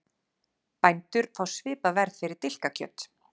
Bændur fá svipað verð fyrir dilkakjöt